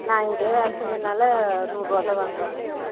நான் இங்கையே வேல செஞ்ச நாலா நூறு ரூபா தான் வாங்குவாங்க